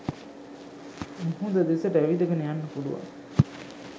මුහුද දෙසට ඇවිදගෙන යන්න පුළුවන්.